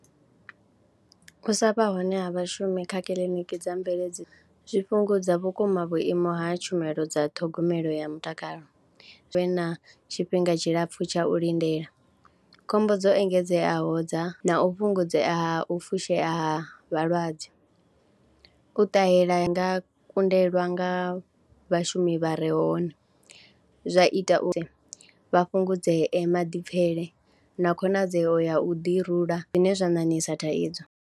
U sa vha hone ha vhashumi kha kiliniki dza mveledzo zwi fhungudza vhukuma vhuimo ha tshumelo dza ṱhogomelo ya mutakalo, hu vhe na tshifhinga tshilapfhu tsha u lindela, khombo dzo engedzeaho dza na u fhungudzea ha u fushea ha vhalwadze. U ṱahela ha nga kundelwa nga vhashumi vha re hone zwa ita uri vha fhungudzee maḓipfhele na khonadzeo ya u ḓirula zwine zwa ṋaṋisa thaidzo.